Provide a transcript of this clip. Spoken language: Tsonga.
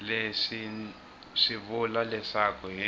leswi swi vula leswaku hi